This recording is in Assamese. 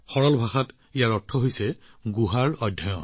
সহজ ভাষাত ইয়াৰ অৰ্থগুহাৰ অধ্যয়ন